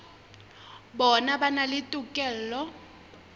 bona ba na le tokelo